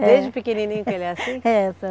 É. Desde pequenininho que ele é assim? É, dona